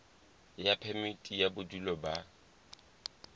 ya phemiti ya bodulo ba